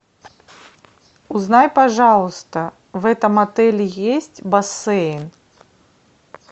узнай пожалуйста в этом отеле есть бассейн